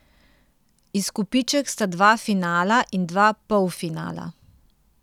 Izkupiček sta dva finala in dva polfinala.